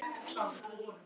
Á hún einn son.